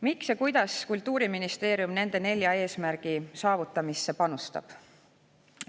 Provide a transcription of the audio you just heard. Miks ja kuidas Kultuuriministeerium nende nelja eesmärgi saavutamisse panustab?